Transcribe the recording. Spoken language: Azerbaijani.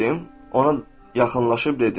ona yaxınlaşıb dedim.